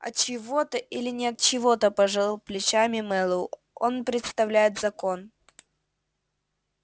от чьего-то или не от чьего-то пожал плечами мэллоу он представляет закон